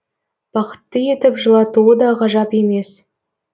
бақытты етіп жылатуы да ғажап емес